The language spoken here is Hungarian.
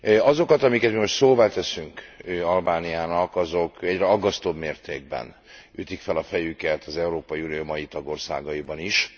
Azokat, amiket mi most szóvá teszünk Albániának, azok egyre aggasztóbb mértékben ütik fel a fejüket az Európai Unió mai tagországaiban is.